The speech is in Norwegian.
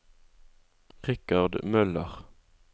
Richard Møller